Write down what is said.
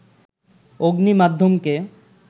অগ্নি মাধ্যমকে